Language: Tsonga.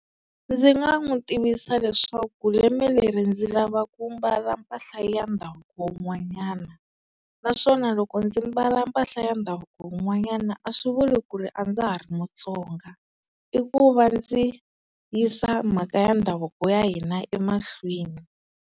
Ndzi nga n'wi tivisa leswaku lembe leri ndzi lava ku mbala mpahla ya ndhavuko wun'wanyana naswona loko ndzi mbala mpahla ya ndhavuko wun'wanyana a swi vuli ku ri a ndza ha ri muTsonga i ku va ndzi yisa mhaka ya ndhavuko ya hina emahlweni.